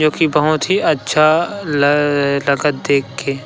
देखी बहुत ही अच्छा लगत देख के--